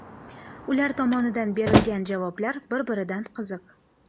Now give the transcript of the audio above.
Ular tomonidan berilgan javoblar bir-biridan qiziq.